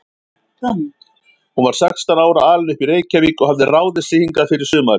Hún var sextán ára, alin upp í Reykjavík og hafði ráðið sig hingað fyrir sumarið.